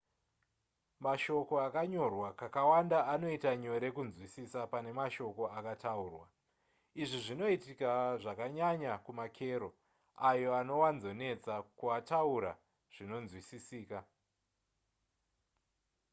mashoko akanyorwa kakawanda anoita nyore kunzwisisa pane mashoko akataurwa izvi zvinoitika zvakanyanya kumakero ayo anowanzonetsa kuataura zvinonzwisisika